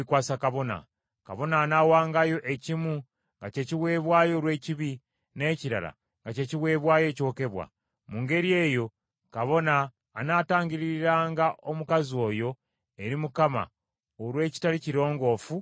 Kabona anaawangayo ekimu nga kye kiweebwayo olw’ekibi, n’ekirala nga kye kiweebwayo ekyokebwa. Mu ngeri eyo kabona anaatangiriranga omukazi oyo eri Mukama olw’ekitali kirongoofu ekimuvaamu.